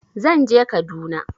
Zan je Kaduna.